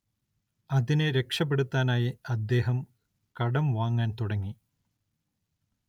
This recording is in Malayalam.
അതിനെ രക്ഷപെടുത്താനായി അദ്ദേഹം കടം വാങ്ങാൻ തുടങ്ങി.